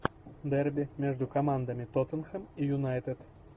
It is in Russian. дерби между командами тоттенхэм и юнайтед